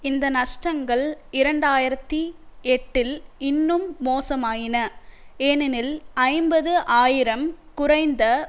இந்த நஷ்டங்கள் இரண்டு ஆயிரத்தி எட்டில் இன்னும் மோசமாயின ஏனெனில் ஐம்பது ஆயிரம் குறைந்த